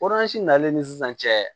nalen ni sisan cɛ